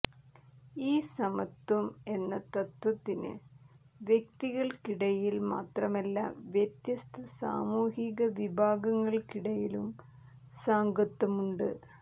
ഈ സമത്വം എന്ന തത്ത്വത്തിന് വ്യക്തികൾക്കിടയിൽ മാത്രമല്ല വ്യത്യസ്ത സാമൂഹികവിഭാഗങ്ങൾക്കിടയിലും സാംഗത്യമുണ്ട്